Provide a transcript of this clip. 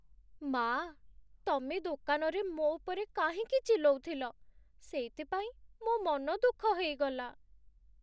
ମା'! ତମେ ଦୋକାନରେ ମୋ' ଉପରେ କାହିଁକି ଚିଲ୍ଲଉଥିଲ, ସେଇଥିପାଇଁ ମୋ' ମନଦୁଃଖ ହେଇଗଲା ।